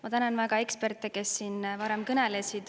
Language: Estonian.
Ma tänan väga eksperte, kes siin varem kõnelesid.